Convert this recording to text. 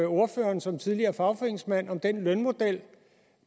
ordføreren som tidligere fagforeningsmand om den lønmodel